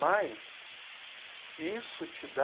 Mas isso te dá...